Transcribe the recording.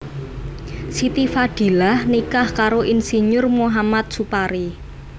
Siti Fadilah nikah karo Ir Muhamad Supari